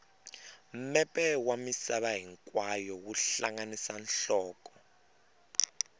mepe wa misava hinkwayo wu hlanganisa nhloko